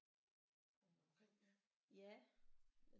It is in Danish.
Rundt omkring ja